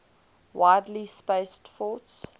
widely spaced forts